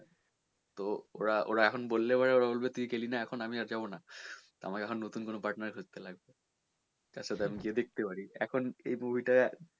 তো ওরা এখন বললে পরে এখনি বলবে যে তুই তখন গেলি না আমরা এখন যাবো না তা আমাকে এখন নতুন কোনো partner খুজতে হবে যার সাথে আমি গিয়ে দেখতে পারি এখন এই movie টায়,